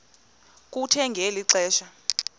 kuthe ngeli xesha